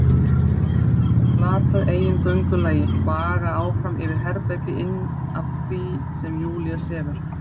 Hef glatað eigin göngulagi, vaga áfram yfir í herbergið inn af þar sem Júlía sefur.